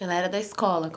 Ela era da escola.